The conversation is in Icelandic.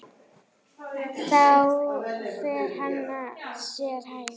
Þá fer hann sér hægar.